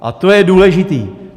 A to je důležité.